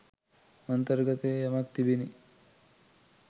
අන්තර්ගතයේ යමක් තිබිණි.